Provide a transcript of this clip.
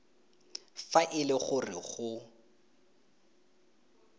fa e le gore go